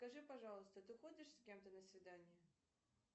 скажи пожалуйста ты ходишь с кем то на свидания